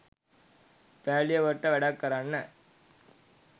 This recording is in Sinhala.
පෑලියගොඩට වැඩක් කරන්න.